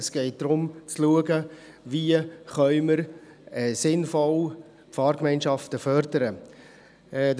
Es geht darum, zu schauen, wie wir sinnvoll Fahrgemeinschaften fördern können.